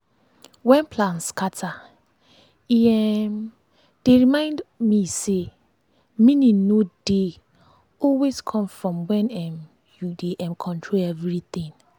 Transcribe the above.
when plan scatter e um dey remind me say meaning no dey dey always come from when um you dey um control everything.